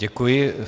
Děkuji.